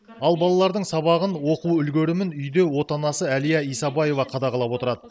ал балалардың сабағын оқу үлгерімін үйде отанасы әлия исабаева қадағалап отырады